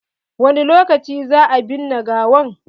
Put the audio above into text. Wani lokaci za a binne gawan?